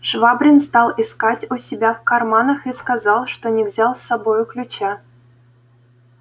швабрин стал искать у себя в карманах и сказал что не взял с собою ключа